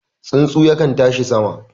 Tsuntsu yakan tashi sama